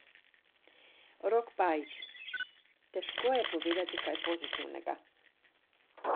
Rok Pajič: "Težko je povedati kaj pozitivnega.